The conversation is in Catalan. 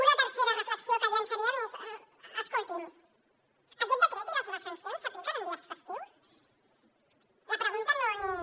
una tercera reflexió que llançaríem és escoltin aquest decret i les seves sancions s’apliquen en dies festius la pregunta no és